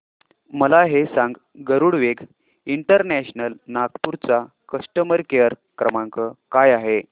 मला हे सांग गरुडवेग इंटरनॅशनल नागपूर चा कस्टमर केअर क्रमांक काय आहे